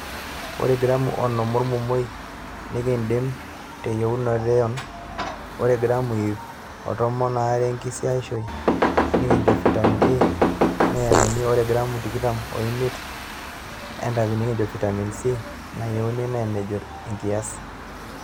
Ore gramu onom olmomoi nikindim te yienoto e ayon, ore gramu iip o tomon aare enkaisiishoi nikincho fitamen A nayieunoi, ore gramu tikitam omiet entapipi nikincho fitamen C nayienoi anaa enajo enkias.